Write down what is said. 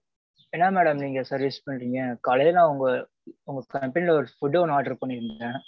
madam. ஏன்னா madam நீங்க service பண்றீங்க காலைல அவங்க உங்க company ல ஒரு food ஒன்னு order பன்னிருந்தேன்.